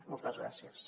moltes gràcies